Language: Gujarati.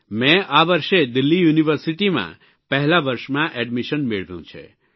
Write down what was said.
મે આ વર્ષે દિલ્હી યુનિવર્સિટીમાં પહેલા વર્ષમાં એડમીશન મેળવ્યું છે